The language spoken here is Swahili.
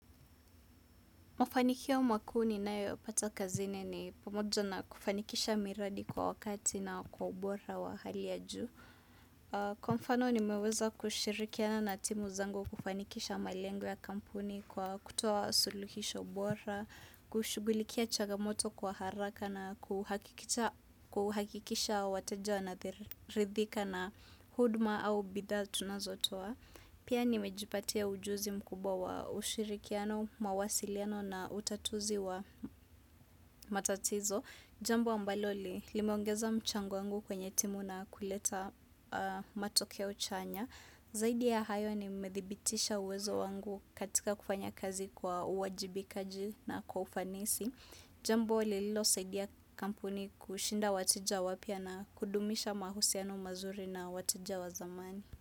Mafanikio makuu ni nayo pata kazini ni pamoja na kufanikisha miradi kwa wakati na kwa ubora wa hali ya juu. Kwa mfano nimeweza kushirikiana na timu zangu kufanikisha malengo ya kampuni kwa kutoa suluhisho bora, kushugulikia chagamoto kwa haraka na kuhakikisha wateja na ridhika na hudma au bidhaa tunazotoa. Pia nimejipatia ujuzi mkubwa wa ushirikiano, mawasiliano na utatuzi wa matatizo. Jambo ambalo limeongeza mchango wangu kwenye timu na kuleta matokeo chanya. Zaidi ya hayo nimedhibitisha uwezo wangu katika kufanya kazi kwa uwajibikaji na kwa ufanisi. Jambo lililosaidia kampuni kushinda wateja wapya na kudumisha mahusiano mazuri na wateja wa zamani.